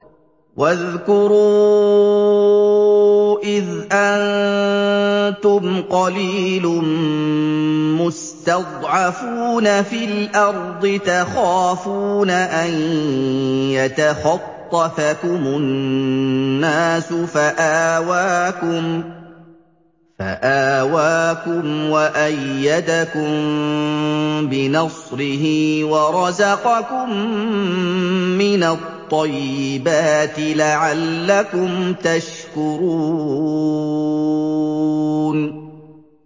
وَاذْكُرُوا إِذْ أَنتُمْ قَلِيلٌ مُّسْتَضْعَفُونَ فِي الْأَرْضِ تَخَافُونَ أَن يَتَخَطَّفَكُمُ النَّاسُ فَآوَاكُمْ وَأَيَّدَكُم بِنَصْرِهِ وَرَزَقَكُم مِّنَ الطَّيِّبَاتِ لَعَلَّكُمْ تَشْكُرُونَ